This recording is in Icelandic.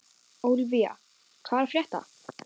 Ólivía, hvað er að frétta?